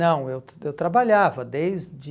Não, eu eu trabalhava desde...